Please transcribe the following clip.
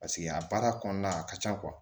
Paseke a baara kɔnɔna a ka ca